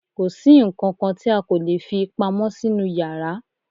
kòsí ǹkankan tí a kò lè fí pamọ́ sínú yàrá